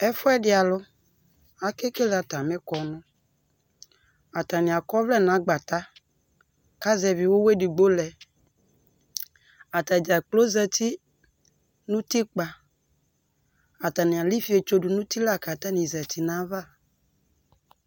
Ɛfʋ ɛdɩ alʋ ake kele atamɩʋ kɔnʋAanɩ akɔ ɔvlɛ nagbata kazɛvɩ ʋwɔ edigbo lɛ Atadzakplo zati nʋ utikpǝ; atanɩ alɛifietso dʋ nʋ uti la k' atanɩ zati nayava